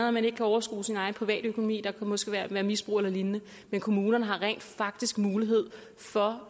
at man ikke kan overskue sin privatøkonomi og der kan måske være misbrug eller lignende men kommunerne har rent faktisk mulighed for